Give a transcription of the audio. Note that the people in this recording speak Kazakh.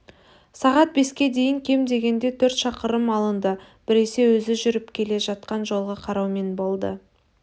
сағат беске дейін кем дегенде төрт шақырым алынды біресе өзі жүріп келе жатқан жолға қараумен болды